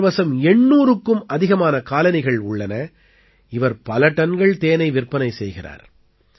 இவர் வசம் 800க்கும் அதிகமான காலனிகள் உள்ளன இவர் பல டன்கள் தேனை விற்பனை செய்கிறார்